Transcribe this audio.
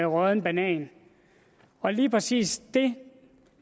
rådden banan lige præcis det